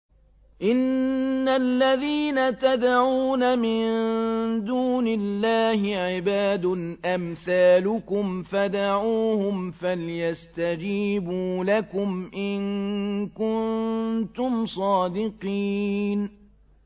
إِنَّ الَّذِينَ تَدْعُونَ مِن دُونِ اللَّهِ عِبَادٌ أَمْثَالُكُمْ ۖ فَادْعُوهُمْ فَلْيَسْتَجِيبُوا لَكُمْ إِن كُنتُمْ صَادِقِينَ